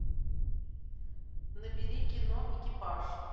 набери кино экипаж